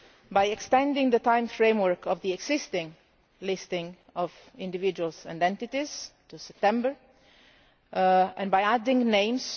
by extending the time framework of the existing list of individuals and entities to September, and by adding names.